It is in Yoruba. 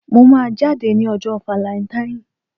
Mo máa jáde ní ọjọ́ valẹntain.